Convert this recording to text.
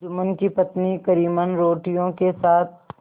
जुम्मन की पत्नी करीमन रोटियों के साथ